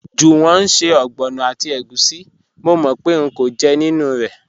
Juwọn n ṣẹ̀ ọgbọnọ àti ègùsí, mò mò pẹ̀ ń kọ̀ jẹ́ nínu rẹ́.